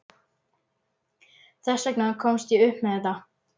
Þess vegna komst ég upp með þetta.